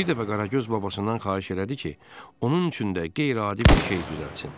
Bir dəfə Qaragöz babasından xahiş elədi ki, onun üçün də qeyri-adi bir şey düzəltsin.